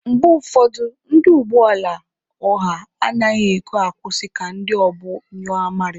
Mgbe ụfọdụ, ndị ụgbọ ala ọha anaghị ekwe akwụsị ka ndị obu nyụọ amarị.